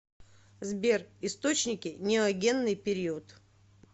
сбер источники неогенный период